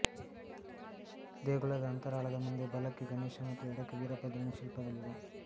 ದೇಗುಲದ ಅಂತರಾಳದ ಮುಂದೆ ಬಲಕ್ಕೆ ಗಣೇಶ ಮತ್ತು ಎಡಕ್ಕೆ ವೀರಭದ್ರನ ಶಿಲ್ಪಗಳಿವೆ